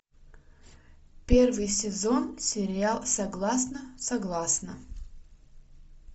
первый сезон сериал согласна согласна